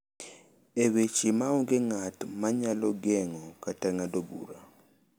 E weche ma onge ng’at ma nyalo geng’o kata ng’ado bura,